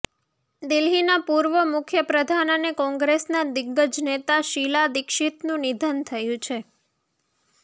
દિલ્હીના પૂર્વ મુખ્યપ્રધાન અને કોંગ્રેસના દિગ્ગજ નેતા શિલા દિક્ષીતનું નિધન થયું છે